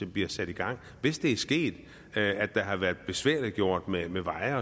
bliver sat i gang hvis det er sket at det har været besværliggjort med med veje